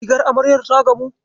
Rigar amaryar ta gamu?